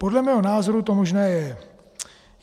Podle mého názoru to možné je.